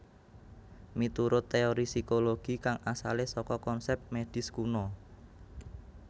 Miturut téori psikologi kang asalé saka konsèp médis kuna